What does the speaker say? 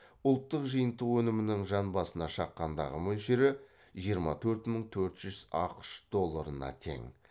ұлттық жиынтық өнімінің жан басына шаққандағы мөлшері жиырма төрт мың төрт жүз ақш долларына тең